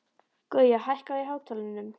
Gauja, hækkaðu í hátalaranum.